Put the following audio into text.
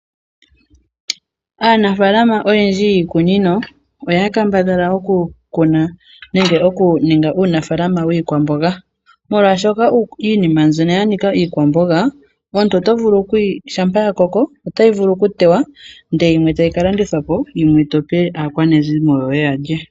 Aanafaalama oyendji yiikunino oya kambadhala oku ninga uunafaalama wiikwamboga oshoka iinima mbyono yanika iikwamboga shampa ya koko ota vulu oku kalandithwa po yoyimwe tope aakwanezimo yoye yalye